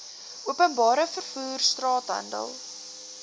openbare vervoer straathandel